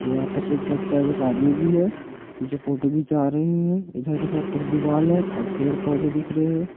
यहां पर सिर्फ बच्चा और एक आदमी है जो फोटो खिंचा रहे हैं उधर के साइड पे एक दीवाल है और पेड़ पौधे दिख रहे हैं।